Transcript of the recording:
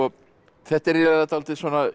þetta er dálítið